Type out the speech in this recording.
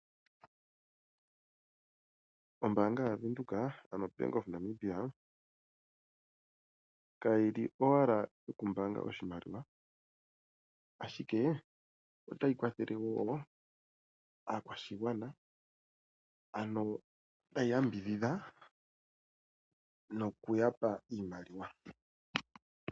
Ombaanga yaVenduka, ano o Bank of Namibia, kayi li owala yokumbaanga oshimaliwa, ashikee ota yi kwathele woo aakwashigwana, ano tayi yambidhidha noku ya pa iimaliwa.